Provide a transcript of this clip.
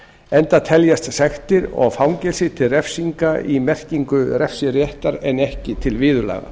enda teljast sektir og fangelsi til refsinga í merkingu refsiréttar en ekki til viðurlaga